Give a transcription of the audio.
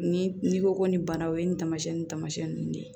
Ni n'i ko ko nin bana o ye nin taamasiyɛn ni taamasiyɛn ninnu de ye